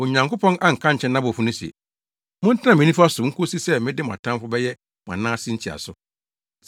Onyankopɔn anka ankyerɛ nʼabɔfo no se, “Montena me nifa so nkosi sɛ mede mo atamfo bɛyɛ mo anan ase ntiaso.”